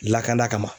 Lakana kama